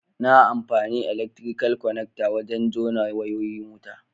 Na amfani elaktirikal kwanakta wajen jona wayoyin wuta.